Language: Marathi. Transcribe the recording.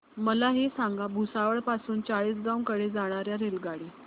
मला हे सांगा भुसावळ पासून चाळीसगाव कडे जाणार्या रेल्वेगाडी